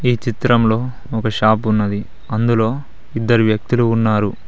ఈ చిత్రంలో ఒక షాపు ఉన్నది అందులో ఇద్దరు వ్యక్తులు ఉన్నారు.